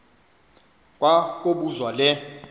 kwa kobuzwa le